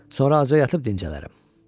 Sonra acı yatıb dincələrəm.